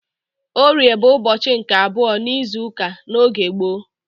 Orie bụ ụbọchị nke abụọ n'izuụka n'oge gboo.